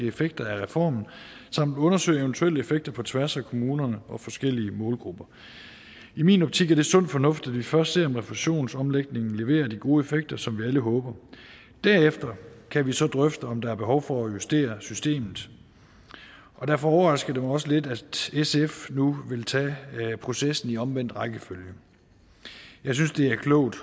effekter af reformen samt undersøge eventuelle effekter på tværs af kommunerne og forskellige målgrupper i min optik er det sund fornuft at vi først ser om refusionsomlægningen leverer de gode effekter som vi alle håber derefter kan vi så drøfte om der er behov for at justere systemet derfor overrasker det mig også lidt at sf nu vil tage processen i omvendt rækkefølge jeg synes det er klogt